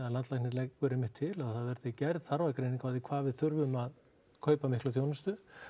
landlæknir leggur einmitt til að það verði gerð þarfagreining á því hvað við þurfum að kaupa mikla þjónustu